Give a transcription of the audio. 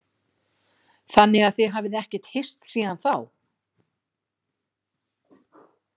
Þannig að þið hafið ekkert hist síðan þá?